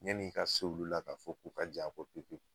Min b'i ka so olu la ka fɔ k'u ka jɛn a kɔ pewu.